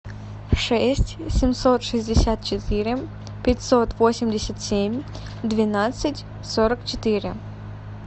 шесть семьсот шестьдесят четыре пятьсот восемьдесят семь двенадцать сорок четыре